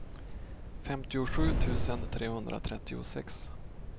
femtiosju tusen trehundratrettiosex